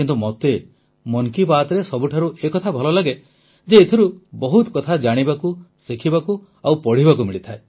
କିନ୍ତୁ ମୋତେ ମନ୍ କି ବାତ୍ରେ ସବୁଠାରୁ ଏ ଥା ଭଲ ଲାଗେ ଯେ ଏଥିରୁ ବହୁତ କଥା ଜାଣିବାକୁ ଶିଖିବାକୁ ଓ ପଢ଼ିବାକୁ ମିଳେ